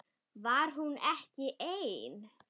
Var hún ekki ein?